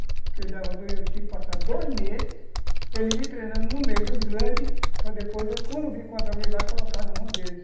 Porque eu tinha que passar dois meses, ele me treinando no meio dos grandes, para depois, quando eu vim encontrar alguém lá, colocar na mão deles.